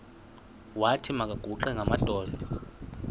wathi makaguqe ngamadolo